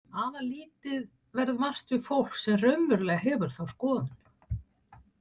Afar lítið verður vart við fólk sem raunverulega hefur þá skoðun.